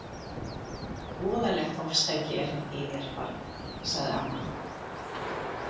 Voðalegt ofstæki er þetta í þér barn, sagði amma.